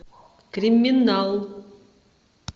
криминал